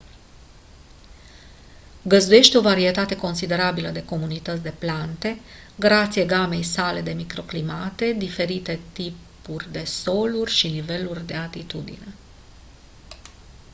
găzduiește o varietate considerabilă de comunități de plante grație gamei sale de microclimate diferitelor tipuri de soluri și niveluri de altitudine